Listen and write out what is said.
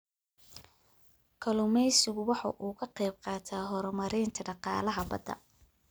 Kalluumaysigu waxa uu ka qayb qaataa horumarinta dhaqaalaha badda.